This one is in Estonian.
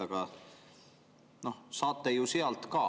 Aga noh, saate ju sealt ka.